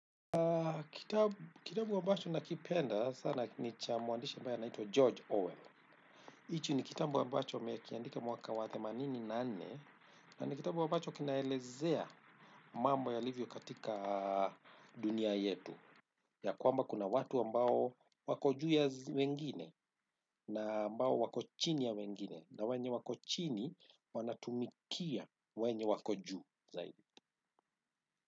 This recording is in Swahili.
Kitabu ambacho na kipenda sana ni cha mwandisha ambaye anaitwa George Orwell. Hiki ni kitabu ambacho alikiandika mwaka themanini na nne na ni kitabu bacho kinaelezea mambo yalivyo katika dunia yetu. Ya kwamba kuna watu ambao wako juu ya wengine na ambao wako chini ya wengine na wenye wako chini wanatumikia wenye wako juu zaidi.